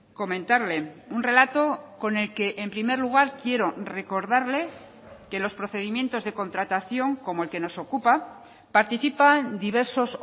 comentarle un relato con el que en primer lugar quiero recordarle que los procedimientos de contratación como el que nos ocupa participan diversos